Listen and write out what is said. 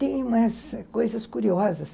Tem umas coisas curiosas.